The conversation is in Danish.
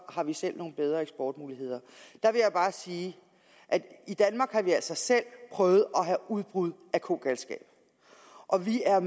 har vi selv nogle bedre eksportmuligheder vil jeg bare sige at i danmark har vi altså selv prøvet at have udbrud af kogalskab og vi er